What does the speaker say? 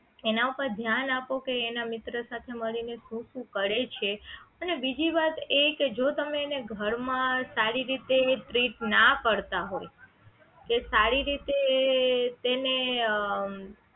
એના ઉપર ધ્યાન આપો કે એના મિત્ર સાથે મળીને શું શું કરે છે અને બીજી વાત એ કે જો તમે એને ઘર માં સારી રીતે treat ના કરતા હોય કે સારી રીતે એને